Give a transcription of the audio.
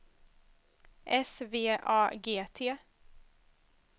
S V A G T